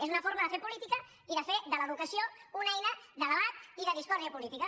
és una forma de fer política i de fer de l’educació una eina de debat i de discòrdia política